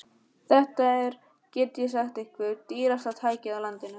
Þetta er, get ég sagt ykkur, dýrasta tækið á landinu.